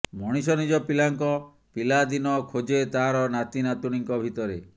ମଣିଷ ନିଜ ପିଲାଙ୍କ ପିଲାଦିନ ଖୋଜେ ତାର ନାତି ନାତୁଣିଙ୍କ ଭିତରେ